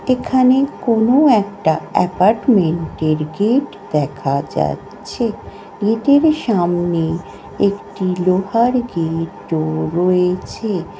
এখানে কোন একটা এপার্টমেন্টের গেট দেখা যাচ্ছে গেট -এর সামনে একটি লোহার গেট -ও রয়েছে ।